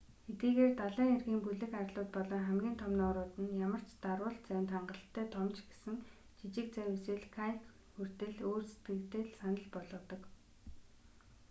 хэдийгээр далайн эргийн бүлэг арлууд болон хамгийн том нуурууд нь ямар ч дарвуулт завинд хангалттай том ч гэсэн жижиг завь эсвэл каяк хүртэл өөр сэтгэгдэл санал болгодог